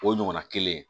O ɲɔgɔnna kelen